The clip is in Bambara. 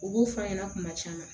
U b'o f'a ɲɛna kuma caman